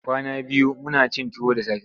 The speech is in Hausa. Kwana biyu muna cin tuwo da safe.